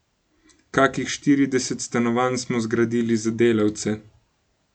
Kakih štirideset stanovanj smo zgradili za delavce.